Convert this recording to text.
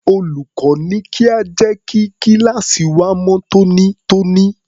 Olùkọ́ ní kí a jẹ́ kí kíláàsì wa mọ́ tónítóní.